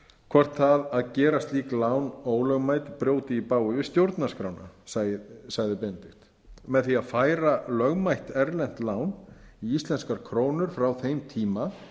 hvort það að gera slík lán ólögmæt brjóti í bága við stjórnarskrána sagði benedikt með því að færa lögmætt erlent lán í íslenskar krónur frá þeim tíma